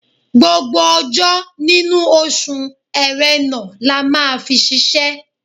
Gbogbo ọjọ́ nínú oṣù Ẹ̀rẹnà la máa fi ṣiṣẹ́.